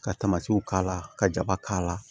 Ka k'a la ka jaba k'a la